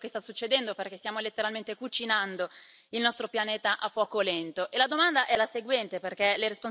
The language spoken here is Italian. Tuttavia è la metafora che meglio descrive quello che sta succedendo, perché stiamo letteralmente cucinando il nostro pianeta a fuoco lento.